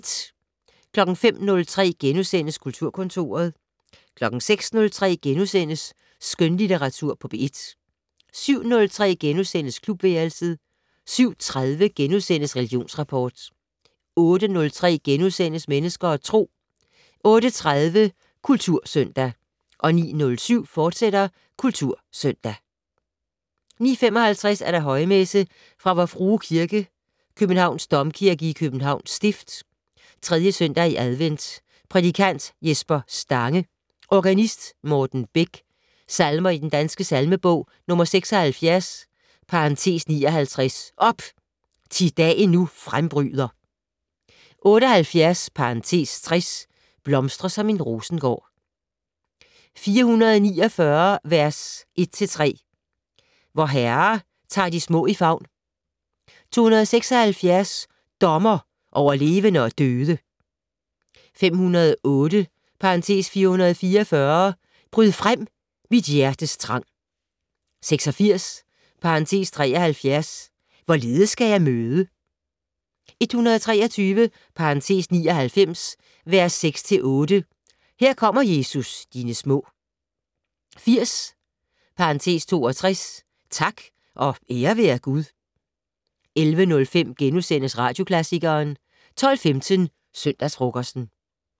05:03: Kulturkontoret * 06:03: Skønlitteratur på P1 * 07:03: Klubværelset * 07:30: Religionsrapport * 08:03: Mennesker og Tro * 08:30: Kultursøndag 09:07: Kultursøndag, fortsat 09:55: Højmesse - Vor Frue Kirke, Københavns Domkirke i Københavns stift. 3. søndag i advent. Prædikant: Jesper Stange. Organist: Morten Bech. Salmer i Den Danske Salmebog: 76 (59) "Op! Thi dagen nu frembryder". 78 (60) "Blomstre som en rosengård". 449 v. 1-3 "Vor Herre tar de små i favn". 276 "Dommer over levende og døde". 508 (444) "Bryd frem, mit hjertes trang". 86 (73) "Hvorledes skal jeg møde". 123 (99) v. 6-8 "Her kommer Jesus, dine små". 80 (62) "Tak og ære være Gud". 11:05: Radioklassikeren * 12:15: Søndagsfrokosten